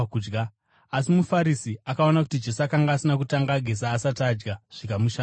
Asi muFarisi akaona kuti Jesu akanga asina kutanga ageza asati adya, zvikamushamisa.